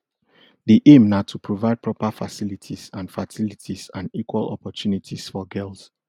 di aim na to provide proper facilities and facilities and equal opportunities for girls